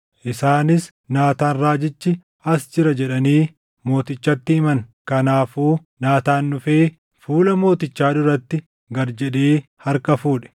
Isaanis, “Naataan raajichi as jira” jedhanii mootichatti himan. Kanaafuu Naataan dhufee fuula mootichaa duratti gad jedhee harka fuudhe.